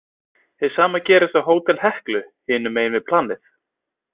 Hið sama gerðist á Hótel Heklu hinum megin við planið.